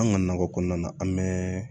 An ka nakɔ kɔnɔna na an bɛɛ